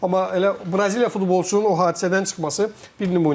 Amma elə Braziliyalı futbolçunun o hadisədən çıxması bir nümunədir.